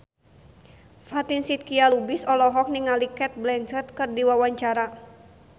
Fatin Shidqia Lubis olohok ningali Cate Blanchett keur diwawancara